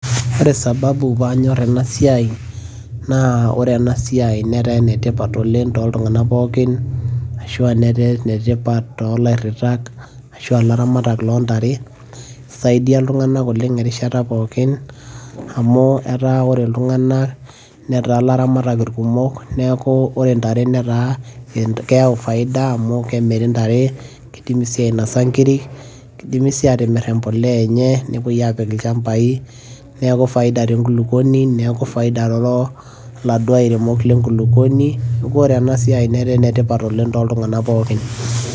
ore sababu pee anyor ena siia, naa ore ena siai, netaa ene tipat tooltunganak pookin, ashu aa netaa ene tipat toolairitaka shu aa ilaramataka loontare, isaidia iltunganak enkata pookin, amu etaa ore iltunganak netaa ilaramatak irkumok, neeku eta ore ntare netaa keyau faida amu kemiri ntare, kinosi nkiri, kidimi sii aatimir empuliya enye, nepuoi aapik ilchampai, neeku faida tenkulupuoni, neeku faida too laduo airemok le nkulupuoni, neku ore ena siai netaa faida tooltunganak pookin.